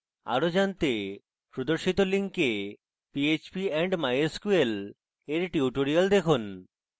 আরো জানতে প্রদর্শিত link phpandmysql এর tutorials দেখুন